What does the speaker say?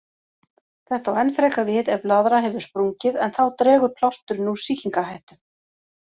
Þetta á enn frekar við ef blaðra hefur sprungið, en þá dregur plásturinn úr sýkingarhættu.